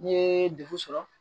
N'i ye dekun sɔrɔ